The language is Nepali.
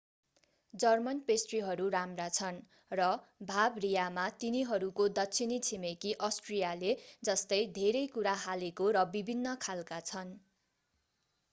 जर्मन पेस्ट्रीहरू राम्रा छन् र बाभरियामा तिनीहरूको दक्षिणी छिमेकी अस्ट्रियाले जस्तै धेरै कुरा हालेको र विभिन्न खालका छन्